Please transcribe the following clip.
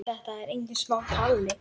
Þetta er engin smá kalli.